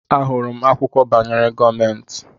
Ahụrụ m akwụkwọ banyere gọọmentị.